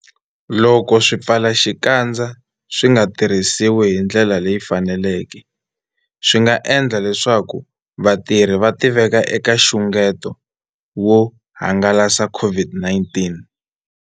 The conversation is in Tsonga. Loko swipfalaxikandza swi nga tirhisiwi hi ndlela leyi faneleke, swi nga endla leswaku vatirhisi va tiveka eka nxungeto wo hangalasa COVID-19.